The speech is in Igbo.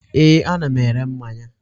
Ee, ana m ere mmanya.